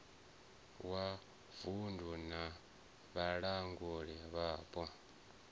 wa vunddu na vhalanguli vhapo